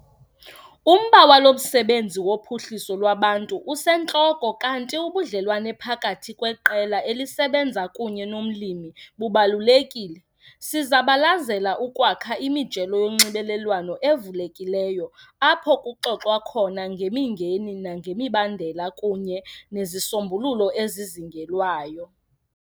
Umba walo msebenzi wophuhliso lwabantu usentloko kanti ubudlelwane phakathi kweqela elisebenza kunye nomlimi bubalulekile. Sizabalazela ukwakha imijelo yonxibelelwano evulekileyo apho kuxoxwa khona ngemingeni nangemibandela, kunye nezisombululo ezizingelwayo.